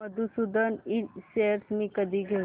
मधुसूदन इंड शेअर्स मी कधी घेऊ